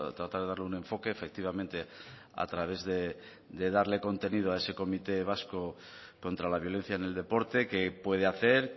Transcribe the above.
tratar de darle un enfoque efectivamente a través de darle contenido a este comité vasco contra la violencia en el deporte qué puede hacer